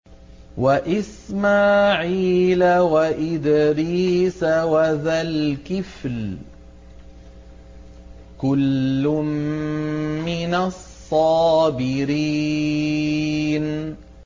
وَإِسْمَاعِيلَ وَإِدْرِيسَ وَذَا الْكِفْلِ ۖ كُلٌّ مِّنَ الصَّابِرِينَ